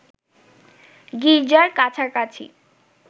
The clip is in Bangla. গির্জার কাছাকাছি